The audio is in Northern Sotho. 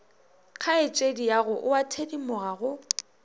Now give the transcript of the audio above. kgaetšediago o a thedimoga go